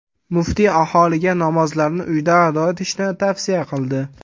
Muftiy aholiga namozlarni uyda ado etishini tavsiya qildi .